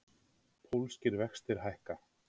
Pólskir vextir hækka